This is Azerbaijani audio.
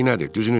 Düzünü de.